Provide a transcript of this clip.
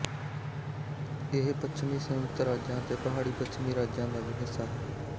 ਇਹ ਪੱਛਮੀ ਸੰਯੁਕਤ ਰਾਜਾਂ ਅਤੇ ਪਹਾੜੀ ਪੱਛਮੀ ਰਾਜਾਂ ਦਾ ਵੀ ਹਿੱਸਾ ਹੈ